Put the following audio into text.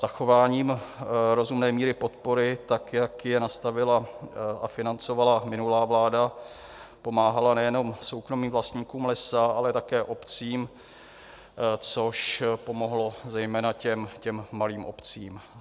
Zachováním rozumné míry podpory tak, jak je nastavila a financovala minulá vláda, pomáhala nejenom soukromým vlastníkům lesa, ale také obcím, což pomohlo zejména těm malým obcím.